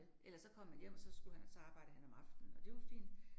Ellers så kom han hjem, og så skulle han, så arbejdede han om aftenen, og det var fint